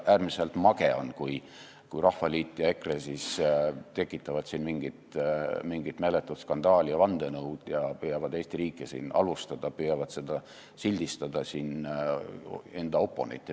Äärmiselt mage on, kui Rahvaliit ja EKRE tekitavad siin mingit meeletut skandaali ja vandenõu ja püüavad Eesti riiki halvustada, püüavad sildistada siin enda oponente.